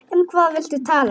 Um hvað viltu tala?